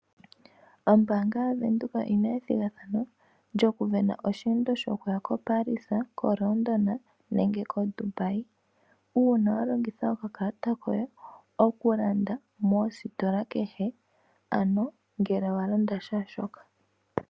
Ombaanga ya Windhoek oyina ethigathano lyoku sindana osheendo shokuya ko Paris, ko London, nenge ko Dubai uuna wa longitha okakalata koye okulanda moositola kehe ano ngele wa landa shaashoka.